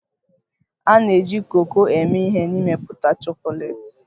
A na-eji koko eme ihe n'ịmepụta chocolates.